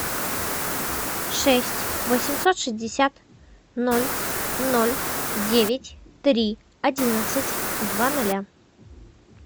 шесть восемьсот шестьдесят ноль ноль девять три одиннадцать два ноля